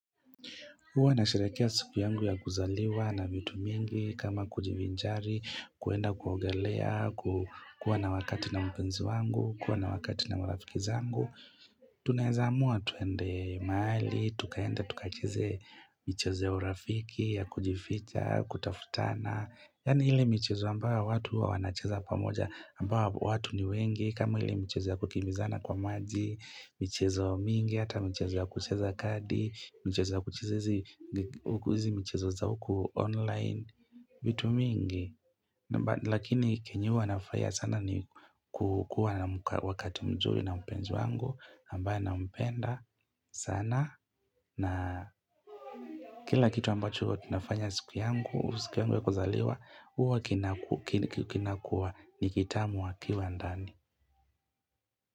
Huwa nasheherekea siku yangu ya kuzaliwa na vitu mingi kama kujivinjari, kuenda kuogelea, kuwa na wakati na mpenzi wangu, kuwa na wakati na marafiki zangu. Tunaezamua tuende maali, tukaenda, tukachezee michezo urafiki ya kujificha, kutafutana. Yani ile michezo ambayo watu huwa wanacheza pamoja ambayo watu ni wengi kama ile michezo ya kukimbizana kwa maji michezo mingi, hata michezo ya kucheza kadi michezo ya kucheza huku hizi michezo za huku online vitu mingi Lakini kenyuwa nafurahia sana. Ni kukua na wakati mzuri na mpenzi wangu ambaye nampenda sana na kila kitu ambacho uwa kinafanya siku yangu siku ya kuzaliwa uwa kinakua nikitamu wakiwa ndani.